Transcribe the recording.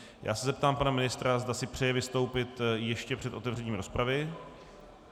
Já se zeptám pana ministra, zda si přeje vystoupit ještě před otevřením rozpravy.